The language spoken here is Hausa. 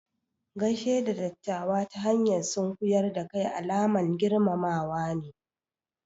Gaishe da ɗattawa ta hanyar sunkuƴar da kai alaman girmamawa ne.